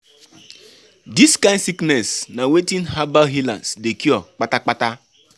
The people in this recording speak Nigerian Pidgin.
Dis kind sickness na wetin herbal healers dey cure kpata kpata.